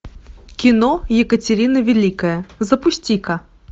кино екатерина великая запусти ка